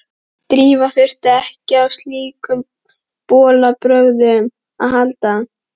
Drífa þurfti ekki á slíkum bolabrögðum að halda.